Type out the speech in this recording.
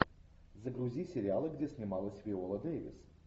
загрузи сериалы где снималась виола дэвис